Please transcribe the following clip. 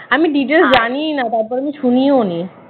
আমি details জানিই না তারপরে আমি শুনিও নি